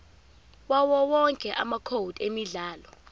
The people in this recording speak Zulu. yawowonke amacode emidlalo